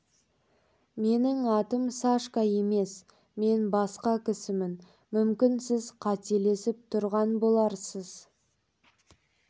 менің атым сашка емес мен басқа кісімін мүмкін сіз қаталасып тұрған боларсыз